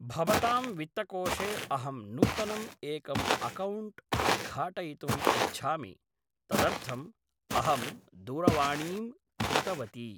भवतां वित्तकोशे अहं नूतनम् एकम् अकौण्ट् उद्घाटयितुम् इच्छामि तदर्थम् अहम् दुरवाणीम् कृतवती